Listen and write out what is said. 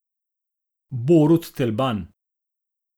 Borut Telban!